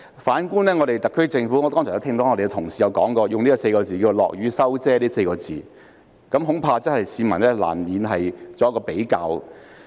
反觀特區政府，我剛才聽到同事用"落雨收遮"這4個字來形容，市民難免會作比較。